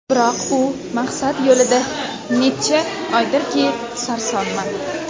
Biroq, shu maqsad yo‘lida necha oydirki, sarsonman.